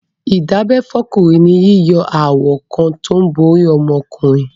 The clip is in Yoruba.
Ìdábẹ́ fọ́kùnrin ni yíyọ awọ kan tó ń bo orí okó ọmọkùnrin.